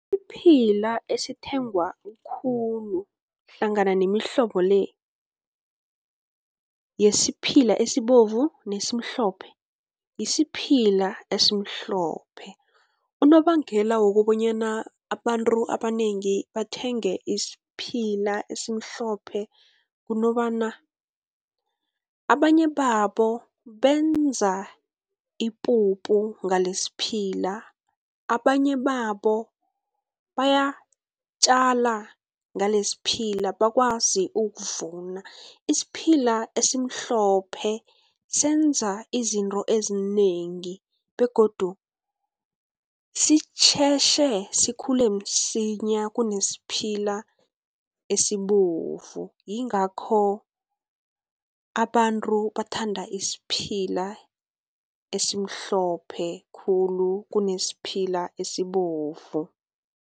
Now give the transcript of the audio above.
Isiphila esithengwa khulu hlangana nemihlobo le, yesiphila esibovu nesimhlophe, yisiphila esimhlophe. Unobangela wokobanyana abantu abanengi bathenge isiphila esimhlophe kunobana, abanye babo benza ipuphu ngalesiphila, abanye babo bayatjala ngalesiphila bakwazi ukuvuna. Isiphila esimhlophe senza izinto ezinengi, begodu sitjhetjhe sikhule msinya kunesiphila esibovu, yingakho abantu bathanda isiphila esimhlophe khulu kunesiphila esibovu.